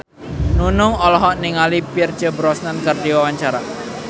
Nunung olohok ningali Pierce Brosnan keur diwawancara